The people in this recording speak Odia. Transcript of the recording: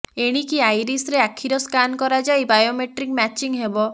ଏଣିକି ଆଇରିସରେ ଆଖିର ସ୍କାନ କରାଯାଇ ବାୟୋମେଟ୍ରିକ ମ୍ୟାଚିଂ ହେବ